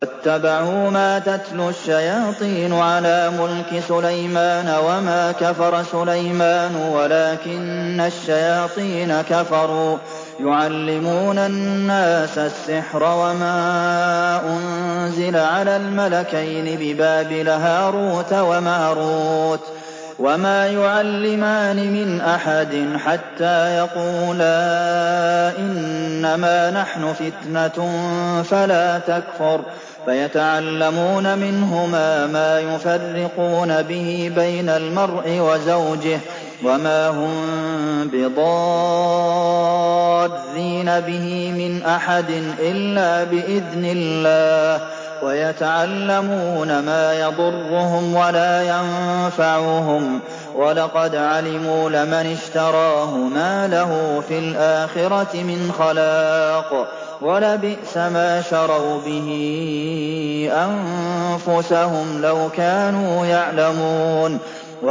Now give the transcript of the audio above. وَاتَّبَعُوا مَا تَتْلُو الشَّيَاطِينُ عَلَىٰ مُلْكِ سُلَيْمَانَ ۖ وَمَا كَفَرَ سُلَيْمَانُ وَلَٰكِنَّ الشَّيَاطِينَ كَفَرُوا يُعَلِّمُونَ النَّاسَ السِّحْرَ وَمَا أُنزِلَ عَلَى الْمَلَكَيْنِ بِبَابِلَ هَارُوتَ وَمَارُوتَ ۚ وَمَا يُعَلِّمَانِ مِنْ أَحَدٍ حَتَّىٰ يَقُولَا إِنَّمَا نَحْنُ فِتْنَةٌ فَلَا تَكْفُرْ ۖ فَيَتَعَلَّمُونَ مِنْهُمَا مَا يُفَرِّقُونَ بِهِ بَيْنَ الْمَرْءِ وَزَوْجِهِ ۚ وَمَا هُم بِضَارِّينَ بِهِ مِنْ أَحَدٍ إِلَّا بِإِذْنِ اللَّهِ ۚ وَيَتَعَلَّمُونَ مَا يَضُرُّهُمْ وَلَا يَنفَعُهُمْ ۚ وَلَقَدْ عَلِمُوا لَمَنِ اشْتَرَاهُ مَا لَهُ فِي الْآخِرَةِ مِنْ خَلَاقٍ ۚ وَلَبِئْسَ مَا شَرَوْا بِهِ أَنفُسَهُمْ ۚ لَوْ كَانُوا يَعْلَمُونَ